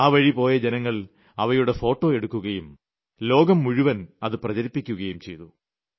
അതുവഴി പോയ ജനങ്ങൾ അവയുടെ ഫോട്ടോ എടുക്കുകയും ലോകം മുഴുവൻ അത് പ്രചരിപ്പിക്കുകയും ചെയ്തു